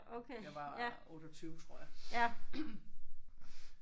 Jeg var 28 tror jeg